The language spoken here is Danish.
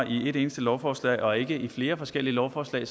et eneste lovforslag og ikke flere forskellige lovforslag